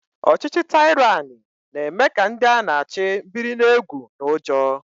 Ọchịchị taịrani na-eme ka ndị a na-achị biri n'egwu na ụjọ